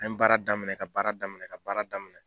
An ye baara daminɛ ka baara daminɛ ka baara daminɛ